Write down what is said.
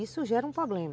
Isso gera um problema.